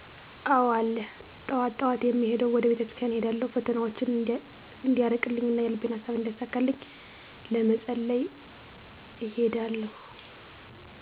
አዎ አለ ጠዋት ጠዋት የምሄደዉ ወደ ቤተክርስቲያን እሄዳለሁ ፈተናዎቸን እንዲያርቅልኝ እና የልቤን ሃሳብ እንዲያሳካልኝ ለመፀለይ እሄዳለሁ